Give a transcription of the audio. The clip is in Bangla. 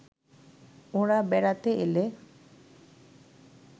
ওঁরা বেড়াতে এলে